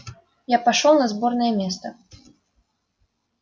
я пошёл на сборное место